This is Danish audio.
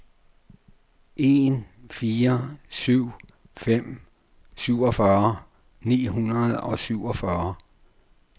en fire syv fem syvogfyrre ni hundrede og syvogfyrre